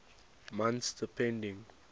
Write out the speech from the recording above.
months depending